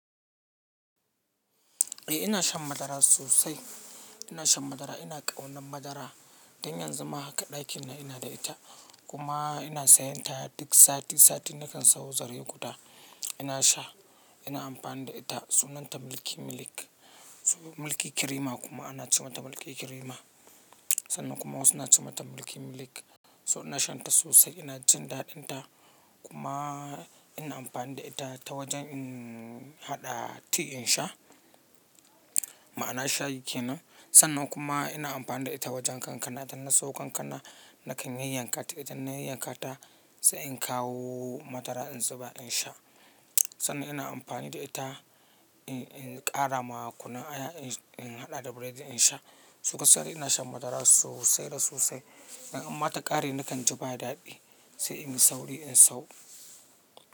Eh ina shan madara sosai. Ina shan madara, ina ƙaunar madara. Dan yanzu ma haka ɗakin na ina da ita kuma ina sayan ta duk sati, sati nakan sayo zare guda. Ina sha, ina amfani da ita. Sunanta Milky Milk. Milky Cream kuma ana ce mata Milky Cream. Sannan kuma wasu na ce mata Milky Milk. So ina shan ta sosai, ina jin daɗin ta kuma ina amfani da ita ta wajen haɗa tea in sha. Ma'ana sha yake nan. Sannan kuma ina amfani da ita wajen kankana. Idan na siyo kankana nakan yayyanka ta. Idan na yayyanka ta sai in kawo madara in zuba in sha. Sannan ina amfani da ita in ƙara ma kunun aya in haɗa da burodi in sha. So gaskiya ina shan madara sosai da sosai. Don ma in ta ƙare nakan ji ba daɗi sai in yi sauri in sayo.